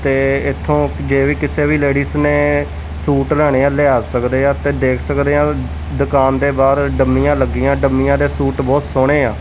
ਤੇ ਇਥੋਂ ਜੇ ਵੀ ਕਿਸੇ ਵੀ ਲੇਡੀਜ ਨੇ ਸੂਟ ਲਾਣੇ ਆ ਲਿਆ ਸਕਦੇ ਆ ਤੇ ਦੇਖ ਸਕਦੇ ਆ ਦੁਕਾਨ ਦੇ ਬਾਹਰ ਡੰਮੀਆਂ ਲੱਗੀਆਂ ਡੰਮੀਆਂ ਦੇ ਸੂਟ ਬਹੁਤ ਸੋਹਣੇ ਆ।